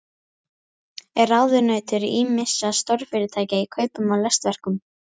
Er ráðunautur ýmissa stórfyrirtækja í kaupum á listaverkum.